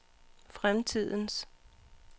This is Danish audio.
fremtidens